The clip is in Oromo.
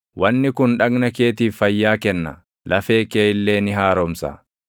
Wanni kun dhagna keetiif fayyaa kenna; lafee kee illee ni haaromsa.